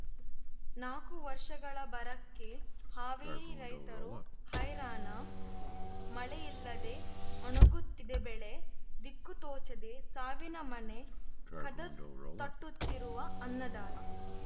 ನಾಕು ವರ್ಷಗಳ ಬರಕ್ಕೆ ಹಾವೇರಿ ರೈತರು ಹೈರಾಣ ಮಳೆಯಿಲ್ಲದೆ ಒಣಗುತ್ತಿದೆ ಬೆಳೆ ದಿಕ್ಕು ತೋಚದೆ ಸಾವಿನ ಮನೆ ಕದ ತಟ್ಟುತ್ತಿರುವ ಅನ್ನದಾತ